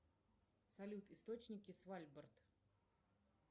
салют источники свальбард